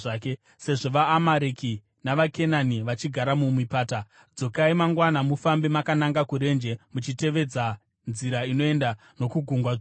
Sezvo vaAmareki navaKenani vachigara mumipata, dzokai mangwana mufambe makananga kurenje muchitevedza nzira inoenda nokuGungwa Dzvuku.”